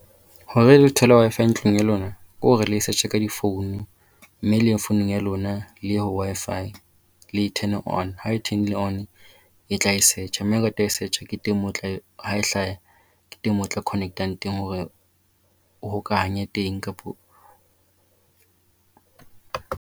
Hore le thole Wi-Fi ntlong ya lona ke hore le e search ka di-phone mme le ye founung ya lona le ye ho Wi-Fi. Le e turn-e on. Ha e turn-ile on e tla e search. Mme search ke teng moo teng moo e tlare ha e hlaha ke teng moo o tla connect-a teng hore o hokahanya teng kapa